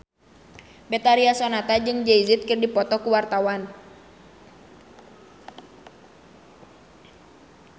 Betharia Sonata jeung Jay Z keur dipoto ku wartawan